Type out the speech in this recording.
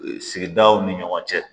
Sigidaw ni ɲɔgɔn cɛ